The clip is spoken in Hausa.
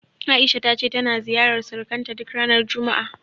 A'isha ta ce tana ziyarar surukanta duk ranar juma'a.